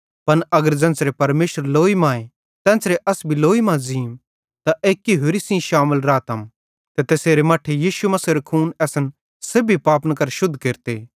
पन अगर ज़ेन्च़रे परमेशर लोई मांए तेन्च़रे अस भी लोई मां ज़ींम त एक्की होरि सेइं शामिल रातम ते तैसेरे मट्ठे यीशु मसीहेरो खून असन सेब्भी पापन करां शुद्ध केरते